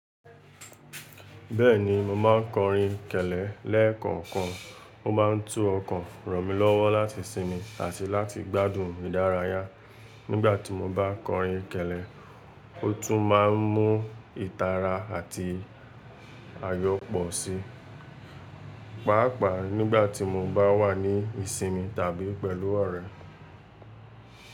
Bẹ́ẹ̀ni, mo máa ń kọrin kẹ̀lẹ́ lẹ́ẹ̀kọ̀kan. Ó máa ń tú ọkàn ràn mí lọ́wọ́ láti sinmi àti láti gbádùn ìdárayá. Nígbà tí mo bá kọrin kẹ̀lẹ́, ó tún máa ń mú ìtara àti àyọ̀ pọ̀ sí i, pàápàá nígbà tí mo bá wà ní ìsinmi tàbí pẹ̀lú ọ̀rẹ́.